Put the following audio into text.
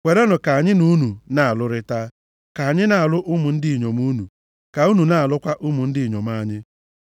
Kwerenụ ka anyị na unu na-alụrịta. Ka anyị na-alụ ụmụ ndị inyom unu, ka unu na-alụkwa ụmụ ndị inyom anyị.